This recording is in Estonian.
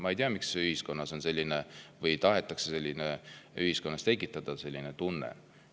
Ma ei tea, miks tahetakse ühiskonnas tekitada selline tunne.